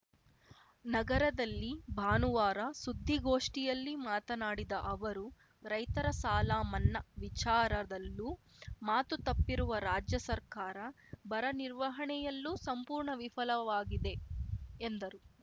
ನಗರದಲ್ಲಿ ಭಾನುವಾರ ಸುದ್ದಿಗೋಷ್ಠಿಯಲ್ಲಿ ಮಾತನಾಡಿದ ಅವರು ರೈತರ ಸಾಲ ಮನ್ನಾ ವಿಚಾರದಲ್ಲೂ ಮಾತು ತಪ್ಪಿರುವ ರಾಜ್ಯ ಸರ್ಕಾರ ಬರ ನಿರ್ವಹಣೆಯಲ್ಲೂ ಸಂಪೂರ್ಣ ವಿಫಲವಾಗಿದೆ ಎಂದರು